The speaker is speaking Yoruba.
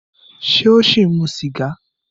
Ṣé ó ṣì ń mu sìgá?